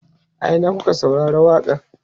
a Ina kuka saurari waƙa n?